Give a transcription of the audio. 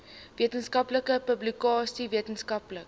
wetenskaplike publikasies wetenskaplike